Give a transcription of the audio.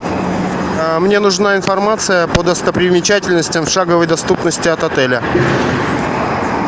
мне нужна информация по достопримечательностям шаговой доступности от отеля